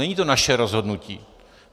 Není to naše rozhodnutí.